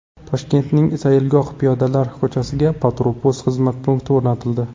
Toshkentning Sayilgoh piyodalar ko‘chasiga patrul-post xizmati punkti o‘rnatildi.